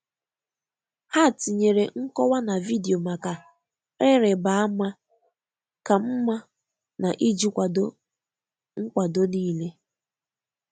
Ha tinyere nkowa na vidiyo maka ịrịba ama ka mma na iji kwado nkwado nile